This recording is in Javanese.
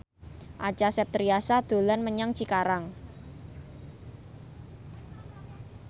Acha Septriasa dolan menyang Cikarang